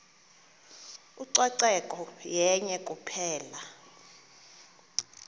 ucoceko yenye kuphela